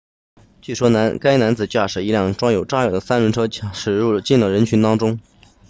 据说该男子驾驶一辆装有炸药的三轮车驶进了人群当中